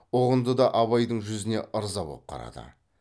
ұғынды да абайдың жүзіне ырза боп қарады